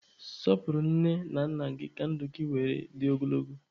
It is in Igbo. Sọpụrụ nne na nna gị ka ndụ gị were dị ogologo.